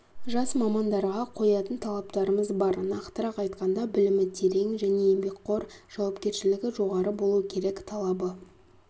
жас мамандарға қоятын талаптарымыз бар нақтырақ айтқанда білімі терең және еңбекқор жауапкершілігі жоғары болу керек талабы